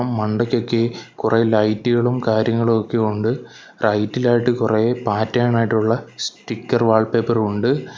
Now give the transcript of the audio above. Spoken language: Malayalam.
മണ്ടക്കൊക്കെ കുറെ ലൈറ്റുകളും കാര്യങ്ങളും ഒക്കെ ഉണ്ട് റൈറ്റിലായിട്ട് കുറെ പാറ്റേൺ ആയിട്ടുള്ള സ്റ്റിക്കർ വാൾ പേപ്പറും ഉണ്ട്.